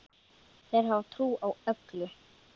Þeir hafa trú á öllu.